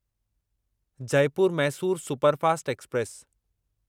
Jaipur Mysore superfast express